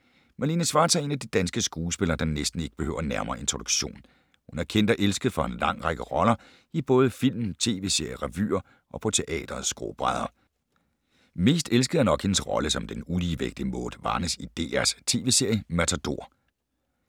Malene Schwartz er en af de danske skuespillere, der næsten ikke behøver nærmere introduktion. Hun er kendt og elsket for en lang række roller i både film, tv-serier, revyer og på teatrets skrå brædder. Mest elsket er nok hendes rolle som den uligevægtige Maude Varnæs i DRs tv-serie Matador.